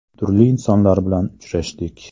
Turli insonlar bilan uchrashdik.